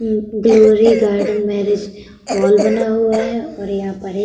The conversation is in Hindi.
ग्लोरी गार्डन मैरिज हॉल बना हुआ है और यहाँ पर एक --